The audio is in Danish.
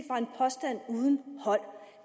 påstand uden hold